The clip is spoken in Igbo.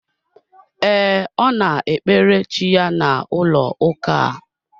Ee, Ọ na ekpere chi ya na ụlọ ụka a